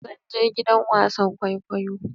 Zan je gidan wasan kwaikwayo.